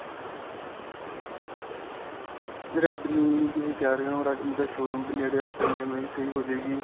redme ਤੁਸੀਂ ਕਹਿ ਰਹੇ ਹੋ redme ਦਾ showroom ਵੀ ਨੇੜੇ ਹੈਂ ਆਪਾਂ EMI ਵੀ ਸਹੀ ਹੋ ਜਾਵੇਗੀ.